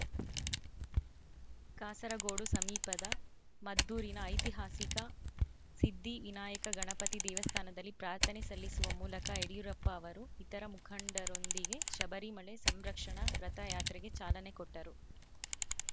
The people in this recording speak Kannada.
ಕಾಸರಗೋಡು ಸಮೀಪದ ಮಧೂರಿನ ಐತಿಹಾಸಿಕ ಸಿದ್ಧಿ ವಿನಾಯಕ ಗಣಪತಿ ದೇವಸ್ಥಾನದಲ್ಲಿ ಪ್ರಾರ್ಥನೆ ಸಲ್ಲಿಸುವ ಮೂಲಕ ಯಡಿಯೂರಪ್ಪ ಅವರು ಇತರ ಮುಖಂಡರೊಂದಿಗೆ ಶಬರಿಮಲೆ ಸಂರಕ್ಷಣ ರಥಯಾತ್ರೆಗೆ ಚಾಲನೆ ಕೊಟ್ಟರು